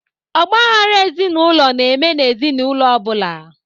Ọgba aghara ezinụlọ na-eme n'ezinaụlọ ọ bụla